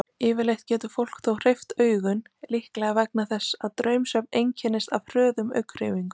Yfirleitt getur fólk þó hreyft augun, líklega vegna þess að draumsvefn einkennist af hröðum augnhreyfingum.